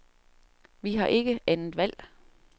Vi har ikke andet valg.